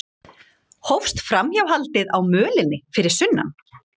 Hófst framhjáhaldið á mölinni fyrir sunnan